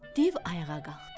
Div ayağa qalxdı.